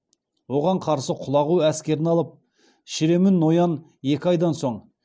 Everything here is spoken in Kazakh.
оған қарсы құлағу әскерін алып шіремүн ноян екі айдан соң